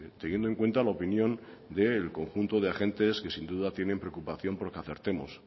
teniendo en cuenta la opinión del conjunto de agentes que sin duda tiene preocupación porque acertemos